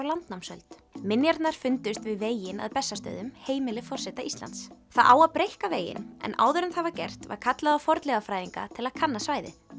landnámsöld minjarnar fundust við veginn að Bessastöðum heimili forseta Íslands það á að breikka veginn en áður en það var gert var kallað á fornleifafræðinga til að kanna svæðið